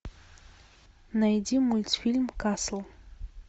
найди мультфильм касл